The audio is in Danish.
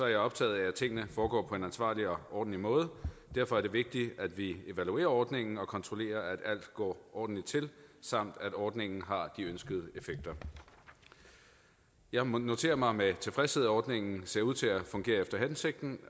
jeg optaget af at tingene foregår på en ansvarlig og ordentlig måde derfor er det vigtigt at vi evaluerer ordningen og kontrollerer at alt går ordentligt til samt at ordningen har de ønskede effekter jeg må notere mig med tilfredshed at ordningen ser ud til at fungere efter hensigten